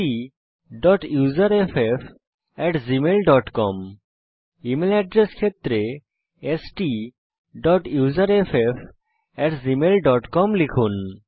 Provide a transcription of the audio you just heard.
STUSERFFgmailcom email address ক্ষেত্রে STUSERFFgmailcom লিখুন